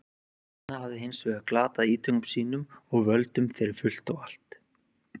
Aþena hafði hins vegar glatað ítökum sínum og völdum fyrir fullt og allt.